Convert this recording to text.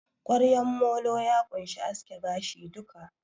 Ƙwaryan molo ya ƙunshi aske gashi duka